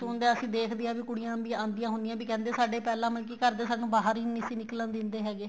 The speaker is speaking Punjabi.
ਸੁਣਦੇ ਹਾਂ ਅਸੀਂ ਦੇਖਦੇ ਹਾਂ ਵੀ ਕੁੜੀਆਂ ਵੀ ਆਦੀਆਂ ਹੁੰਦੀਆਂ ਏ ਵੀ ਕਹਿੰਦੇ ਸਾਡੇ ਪਹਿਲਾ ਮਤਲਬ ਕੀ ਘਰ ਦੇ ਸਾਨੂੰ ਬਾਹਰ ਹੀ ਨਹੀਂ ਸੀ ਨਿੱਕਲਣ ਦਿੰਦੇ ਹੈਗੇ